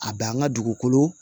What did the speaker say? A bɛ an ka dugukolo